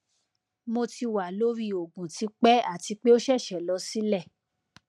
mo ti wa lori oogun tipe ati pe o sese lo sile